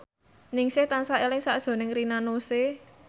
Ningsih tansah eling sakjroning Rina Nose